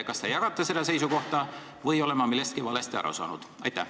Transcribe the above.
Kas te jagate seda seisukohta või olen ma millestki valesti aru saanud?